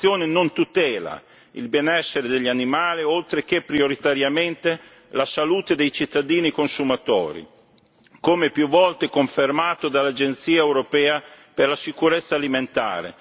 La clonazione non tutela il benessere degli animali, oltre che prioritariamente, la salute dei cittadini e consumatori, come più volte confermato dall'Agenzia europea per la sicurezza alimentare.